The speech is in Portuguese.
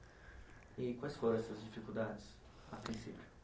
E quais foram essas dificuldades, a princípio?